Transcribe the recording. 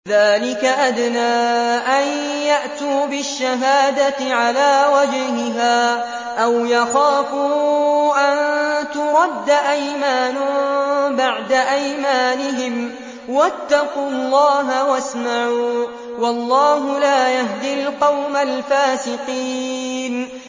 ذَٰلِكَ أَدْنَىٰ أَن يَأْتُوا بِالشَّهَادَةِ عَلَىٰ وَجْهِهَا أَوْ يَخَافُوا أَن تُرَدَّ أَيْمَانٌ بَعْدَ أَيْمَانِهِمْ ۗ وَاتَّقُوا اللَّهَ وَاسْمَعُوا ۗ وَاللَّهُ لَا يَهْدِي الْقَوْمَ الْفَاسِقِينَ